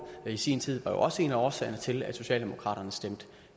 i sin tid var jo også en af årsagerne til at socialdemokraterne stemte